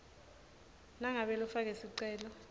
nangabe lofake sicelo